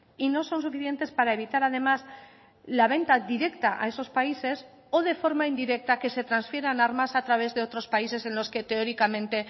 y no son suficientes para evitar además la venta directa a esos países o de forma indirecta que se transfieran armas a través de otros países en los que teóricamente